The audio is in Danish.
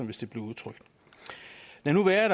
vist blev udtrykt lad nu være at